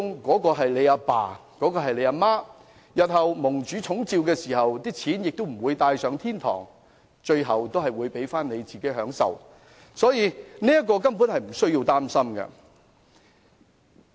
我們的父母日後如蒙主寵召，他們不能把錢帶上天堂，最後還是留給子女享受，為人子女者根本無須擔心。